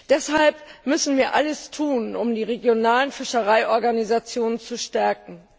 Deshalb müssen wir alles tun, um die regionalen Fischereiorganisationen zu stärken.